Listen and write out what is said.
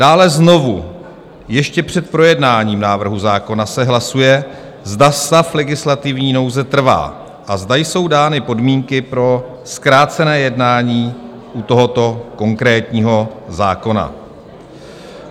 Dále: "Znovu, ještě před projednáním návrhu zákona, se hlasuje, zda stav legislativní nouze trvá a zda jsou dány podmínky pro zkrácené jednání u tohoto konkrétního zákona.